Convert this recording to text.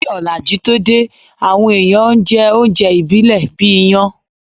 Kí òlàjú tó dé, àwọn èèyàn n jẹ oúnjẹ ìbílẹ̀ bíi iyán